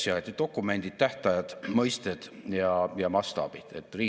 "Eesti 2035" strateegia seab üheks sihiks, et Eesti majandus on tugev, uuendusmeelne ja vastutustundlik.